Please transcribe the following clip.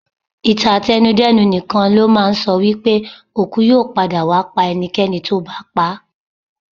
Ìtàn àtẹnu-dẹ́nu nìkan ló máa ń sọ wípé òkú yóò padà wá pa ẹnikẹ́ni tó bá pa á.